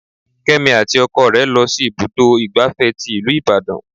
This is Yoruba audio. Kémi àti ọkọ rẹ lọ sí ibùdó igbàfẹ́ tí ìlú Ìbàdàn.